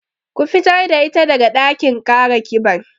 Ku fitar da ita daga ɗakin kara kiban